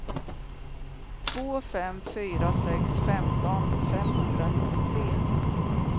två fem fyra sex femton femhundranittiotre